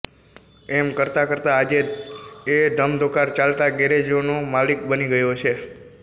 એમ કરતાં કરતાં આજે એ ધમધોકાર ચાલતા ગેરેજનો માલિક બની ગયો છે